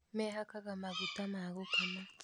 Mehakaga maguta ma gũkama